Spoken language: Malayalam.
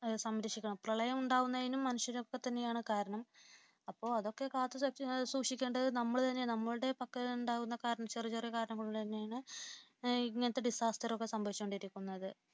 സംരക്ഷിക്കണം പ്രളയമുണ്ടാകുന്നതിനും മനുഷ്യരൊക്കെ തന്നെയാണ് കാരണം അപ്പോൾ അതൊക്കെ കാത്തുസൂക്ഷിക്കേണ്ടത് നമ്മൾ തന്നെയാണ് നമ്മൾ നമ്മുടെ പക്കലുണ്ടാകുന്ന ചെറിയ ചെറിയ കാരണങ്ങൾ കൊണ്ട് തന്നെയാണ് ഇങ്ങനത്തെ ഡിസാസ്റ്ററുകളൊക്കെ സംഭവിച്ച് കൊണ്ടിരിക്കുന്നത്